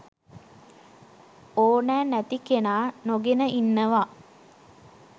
ඕනැ නැති කෙනා නොගෙන ඉන්නවා